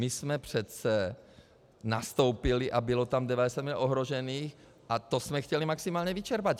My jsme přece nastoupili a bylo tam 90 mil. ohrožených a to jsme chtěli maximálně vyčerpat.